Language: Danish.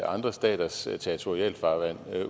andre staters territorialfarvand